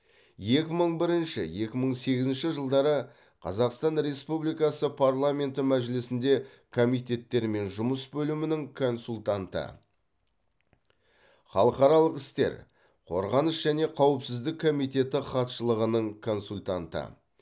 екі мың бірінші екі мың сегізінші жылдары қазақстан республикасы парламенті мәжілісінде комитеттермен жұмыс бөлімінің консультанты халықаралық істер қорғаныс және қауіпсіздік комитеті хатшылығының консультанты